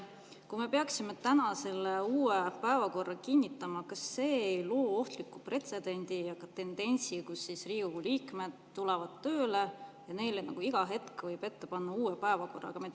Kui me peaksime täna selle uue päevakorra kinnitama, kas see ei loo ohtlikku pretsedenti või tendentsi, kus Riigikogu liikmed tulevad tööle ja neile nagu iga hetk võib ette panna uue päevakorra?